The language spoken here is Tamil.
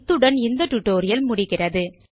இத்துடன் இந்த டியூட்டோரியல் முடிகிறது